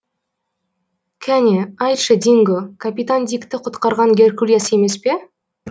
кәне айтшы динго капитан дикті құтқарған геркулес емес пе